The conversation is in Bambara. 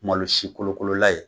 Malo si kolokolola ye.